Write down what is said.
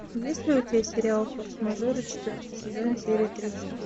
есть ли у тебя сериал форс мажоры четвертый сезон серия тридцать два